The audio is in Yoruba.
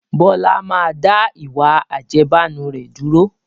Bọlá máa da ìwà àjẹbánu rẹ̀ dúró